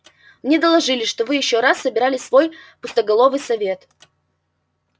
мне доложили что вы ещё раз собирали свой пустоголовый совет